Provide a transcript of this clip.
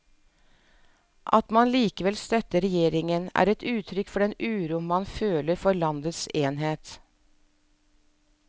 At man likevel støtter regjeringen, er et uttrykk for den uro man føler for landets enhet.